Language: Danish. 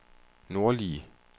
nordlige